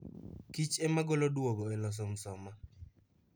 Kich emagolo duogo e loso msoma